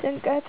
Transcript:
ጭንቀት